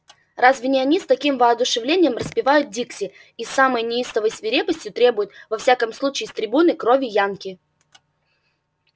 разве не они с таким воодушевлением распевают дикси и с самой неистовой свирепостью требуют во всяком случае с трибуны крови янки